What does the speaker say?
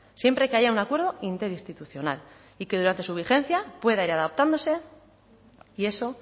siempre que haya un acuerdo interinstitucional y que durante su vigencia pueda ir adaptándose y eso